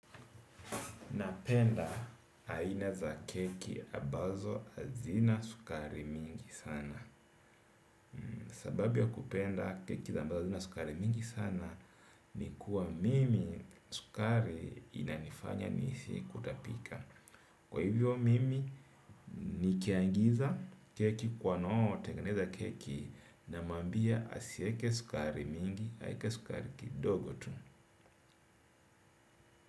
Napenda aina za keki ambazo hazina sukari mingi sana. Sababu ya kupenda keki za ambazo hazina sukari mingi sana ni kuwa mimi sukari inanifanya nihisi kutapika. Kwa hivyo mimi nikiangiza keki kwa wanao tengeneza keki namwambia asiweke sukari mingi aweke sukari kidogo tu.